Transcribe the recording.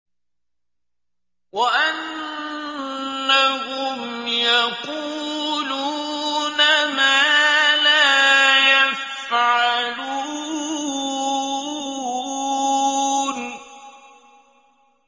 وَأَنَّهُمْ يَقُولُونَ مَا لَا يَفْعَلُونَ